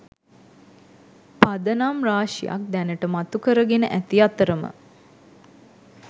පදනම් රාශියක් දැනට මතු කර ගෙන ඇති අතරම